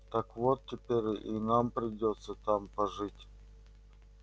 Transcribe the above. так вот теперь и нам придётся там пожить